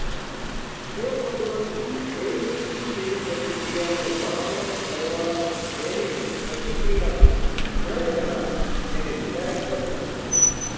જે પ્રબલન વિધેયની શીખેલી પ્રતિક્રિયાને વારંંવાર કરવા પ્રેરીને પ્રતિક્રિયાને દ્રઢ બનાવે તેને વિધાયક પ્રબલન કહે છે